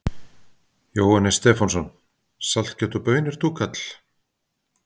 Jóhannes Stefánsson: Saltkjöt og baunir, túkall?